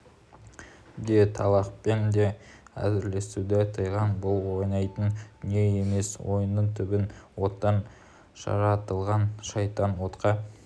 де талақпен де әзілдесуді тыйған бұл ойнайтын дүние емес ойынның түбін оттан жаратылған шайтан отқа